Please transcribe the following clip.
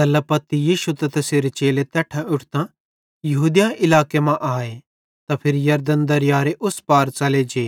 तैल्ला पत्ती यीशु त तैसेरे चेले तैट्ठां उठतां यहूदिया इलाके मां आए त फिरी यरदन दरीयारे उस पार च़ले जे